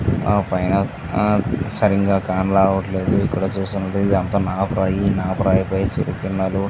ఆపైన సరిగ్గా కాన రావట్లేదు. ఇక్కడ చూస్తునట్టయితే ఇదంతా నాపరాయి. నాపరాయిపై --